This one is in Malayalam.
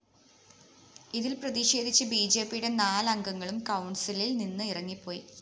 ഇതില്‍ പ്രതിഷേധിച്ച് ബിജെപിയുടെ നാല് അംഗങ്ങളും കൗണ്‍സിലില്‍ നിന്ന് ഇറങ്ങിപ്പോയി